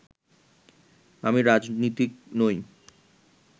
আমি রাজনীতিক নই